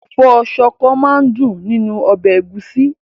Ẹ̀fọ́ ṣọkọ máa dùn nínú ọbẹ̀ ẹ̀gúsí.